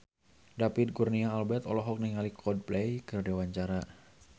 David Kurnia Albert olohok ningali Coldplay keur diwawancara